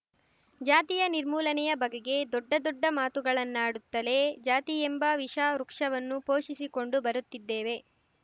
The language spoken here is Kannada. ಜಾತಿಯ ನಿರ್ಮೂಲನೆಯ ಬಗೆಗೆ ದೊಡ್ಡ ದೊಡ್ಡ ಮಾತುಗಳನ್ನಾಡುತ್ತಲೇ ಜಾತಿಯೆಂಬ ವಿಷ ವೃಕ್ಷವನ್ನು ಪೋಷಿಸಿಕೊಂಡು ಬರುತ್ತಿದ್ದೇವೆ